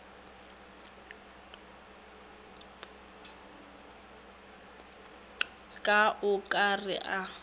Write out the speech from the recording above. ka o ka re a